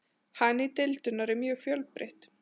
Hagnýting deildunar er mjög fjölbreytt.